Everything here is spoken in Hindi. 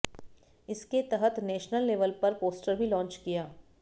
इसके तहत नेशनल लेवल पर पोस्टर भी लॉन्च किया